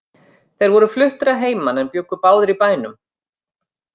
Þeir voru fluttir að heiman en bjuggu báðir í bænum.